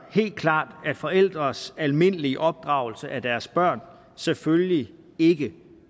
helt klart at forældres almindelige opdragelse af deres børn selvfølgelig ikke